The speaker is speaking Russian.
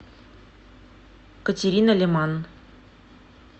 катерина леман